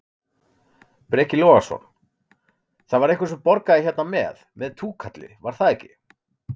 Breki Logason: Það var einhver sem borgaði hérna með, með túkalli, var það ekki?